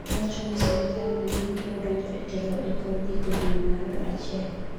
owacho ni sirikal manyien piro donjo e telo e kor giko dwe mar achiel